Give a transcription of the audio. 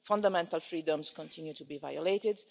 fundamental freedoms continue to be violated.